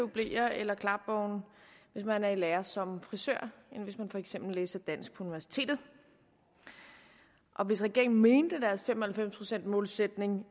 bleer eller klapvogne hvis man er i lære som frisør end hvis man for eksempel læser dansk på universitetet hvis regeringen mente deres fem og halvfems procents målsætning